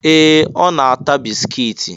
Ee! Ọ na-ata bisikiiti.